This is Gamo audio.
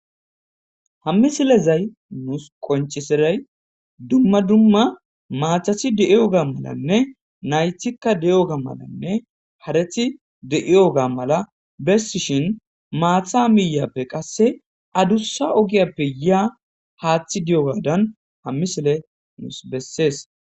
Hammisilezay nuus qonciseray dumma dumma maathasi de7ioga malanne naythikka de7ioga malanne hareti de7iyoga mala bessishin maatha miiyappe qasse adussa ogiyappe yaa haaththi di7o gaadan hammisile nuus bessees.